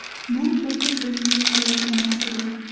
Bu sodir bo‘lishi kerak emas edi.